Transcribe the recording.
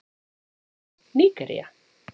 Nígería